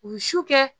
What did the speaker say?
U ye su kɛ